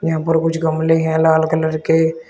यहां पर कुछ गमले हैं लाल कलर के।